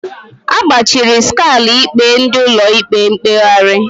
Agbajiri Skalu ikpe ndị Ụlọ ikpe mkpegharị